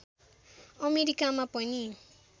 अमेरीकामा पनि